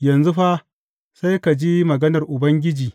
Yanzu fa, sai ka ji maganar Ubangiji.